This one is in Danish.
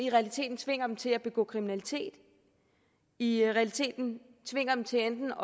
i realiteten tvinger dem til at begå kriminalitet i realiteten tvinger dem til enten